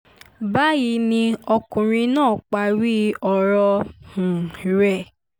báyìí ni ọkùnrin náà parí ọ̀rọ̀ um rẹ̀